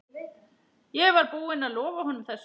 Ég var búinn að lofa honum þessu.